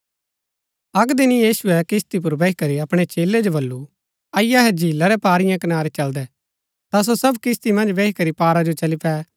अक्क दिन यीशुऐ किस्ती पुर बैही करी अपणै चेलै जो वल्‍लु अईआ अहै झीला रै पारीयें कनारी चलदै ता सो सब किस्ती मन्ज बैही करी पारा जो चली पै